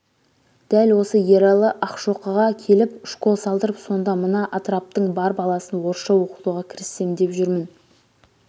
дәл осы ералы ақшоқыға келіп школ салдырып сонда мына атыраптың бар баласын орысша оқытуға кіріссем деп жүрмін